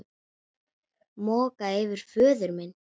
Moka yfir föður minn.